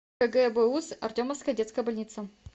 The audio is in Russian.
кгбуз артемовская детская больница